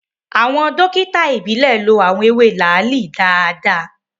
Awọn dokita ìbílè lo awọn ewe laali daadaa